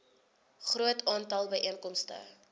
groot aantal byeenkomste